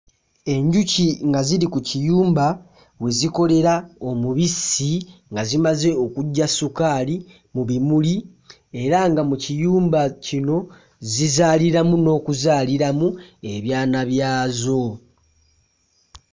Enjuki nga ziri ku kiyumba we zikolera omubisi nga zimaze okuggya ssukaali mu bimuli era nga mu kiyumba kino zizaaliramu n'okuzaaliramu ebyana byazo.